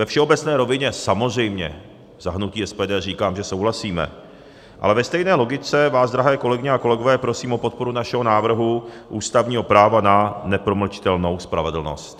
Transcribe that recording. Ve všeobecné rovině samozřejmě za hnutí SPD říkám, že souhlasíme, ale ve stejné logice vás, drahé kolegyně a kolegové, prosím o podporu našeho návrhu ústavního práva na nepromlčitelnou spravedlnost.